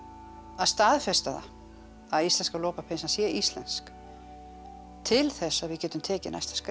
staðfesta það að íslenska lopapeysan sé íslensk til þess að við getum tekið næsta skref